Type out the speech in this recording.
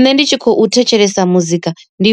Nṋe ndi tshi khou thetshelesa muzika ndi